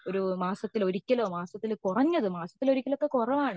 മാസത്തിൽ ഒരിക്കലോ കുറഞ്ഞത് മാസത്തിൽ ഒരിക്കൽ ഒക്കെ കുറവാണ്